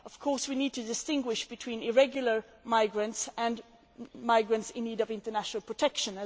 Of course we need to distinguish between irregular migrants and migrants in need of international protection.